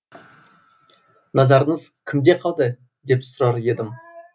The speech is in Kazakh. назарыңыз кімде қалды деп сұрар едім